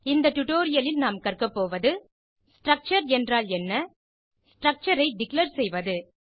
இந்த டுடோரியலில் நாம் கற்க போவது ஸ்ட்ரக்சர் என்றால் என்ன ஸ்ட்ரக்சர் ஐ டிக்ளேர் செய்வது